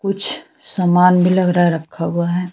कुछ समान भी लग रहा रखा हुआ है।